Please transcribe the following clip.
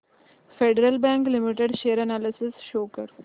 federal bank limited share analysis show कर